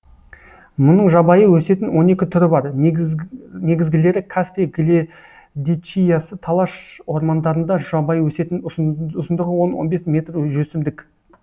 мұның жабайы өсетін он екі түрі бар негізгілері каспий гледичиясы талаш ормандарында жабайы өсетін ұзындығы он он бес метр өсімдік